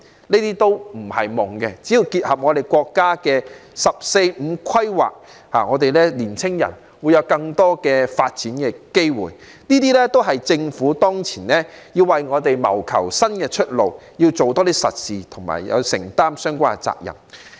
這些都不是"夢"，只要結合國家的《十四五規劃綱要》，年青人便會有更多發展機會，這些都是政府當前要為我們謀求的新出路，做多一些實事及承擔相關責任。